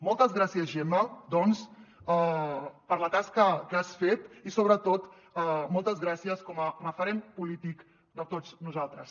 moltes gràcies gemma doncs per la tasca que has fet i sobretot moltes gràcies com a referent polític de tots nosaltres